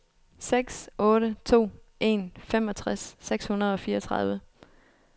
seks otte to en femogtres seks hundrede og fireogtredive